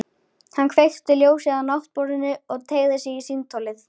Hann kveikti ljósið á náttborðinu og teygði sig í símtólið.